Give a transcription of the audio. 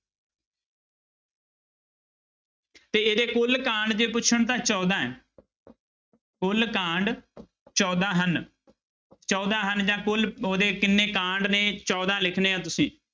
ਤੇ ਇਹਦੇ ਕੁੱਲ ਕਾਂਡ ਜੇ ਪੁੱਛਣ ਤਾਂ ਚੌਦਾਂ ਹੈ ਕੁੱਲ ਕਾਂਡ ਚੌਦਾਂ ਹਨ ਚੌਦਾਂ ਹਨ ਜਾਂ ਕੁੱਲ ਉਹਦੇ ਕਿੰਨੇ ਕਾਂਡ ਨੇ ਚੌਦਾਂ ਲਿਖਣੇ ਆਂ ਤੁਸੀਂ।